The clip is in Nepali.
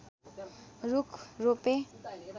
रूख रोपे